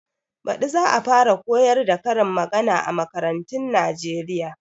Baɗi za a fara koyar da karin magana a makarantun Nijeriya